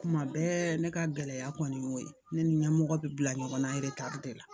Kuma bɛɛ ne ka gɛlɛya kɔni y'o ye ne ni n ɲɛmɔgɔ bi bila ɲɔgɔn na de la